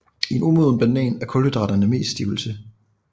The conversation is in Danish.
I en umoden banan er kulhydraterne mest stivelse